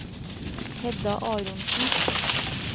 Hedda Aronsen